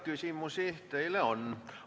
Küsimusi teile on.